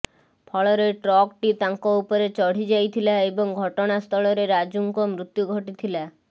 ଫଳରେ ଟ୍ରକ୍ଟି ତାଙ୍କ ଉପରେ ଚଢ଼ି ଯାଇଥିଲା ଏବଂ ଘଟଣାସ୍ଥଳରେ ରାଜୁଙ୍କ ମୃତ୍ୟୁ ଘଟିଥିଲା